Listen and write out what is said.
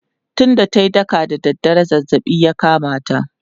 tun da tayi daka da dare zazzabi ya kamata